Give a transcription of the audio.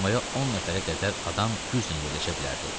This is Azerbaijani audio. Komaya 10 nəfərə qədər adam güclə yerləşə bilərdi.